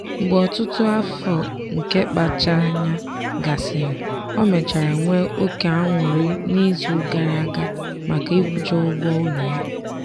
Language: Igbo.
mgbe ọtụtụ afọ nke mkpacha anya gasịrị ọ mechara nwee oke aṅụrị n'izu gara aga maka ịkwụcha ụgwọ ụlọ ya.